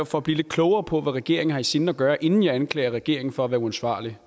for at blive lidt klogere på hvad regeringen har i sinde at gøre inden jeg anklager regeringen for at være uansvarlige